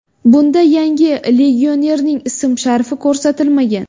Bunda yangi legionerning ism-sharifi ko‘rsatilmagan.